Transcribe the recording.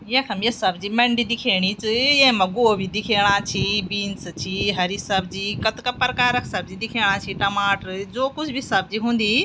यखम ये सब्जी मंडी दिखेणी च येमा गोभी दिखेणा छि बींस छि हरी सब्जी कतका प्रकार क सब्जी दिखेणा छि टमाटर जो कुछ भी सब्जी हुन्दी।